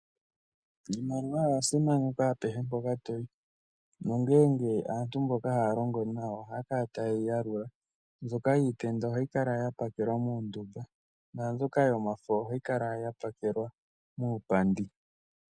Iimaliwa oya simanekwa apehe mpoka toyi, nongele aantu mboka haya longo nawa ohaya kala taye yi yalula, mbyoka yiitenda ohayi kala ya pakelwa muundumba naambyoka yomafo ohayi kala ya pakelwa muupandi.